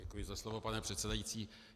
Děkuji za slovo, pane předsedající.